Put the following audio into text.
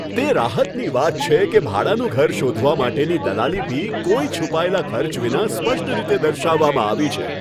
તે રાહતની વાત છે કે ભાડાનું ઘર શોધવા માટેની દલાલી ફી કોઈ છુપાયેલા ખર્ચ વિના સ્પષ્ટ રીતે દર્શાવવામાં આવી છે.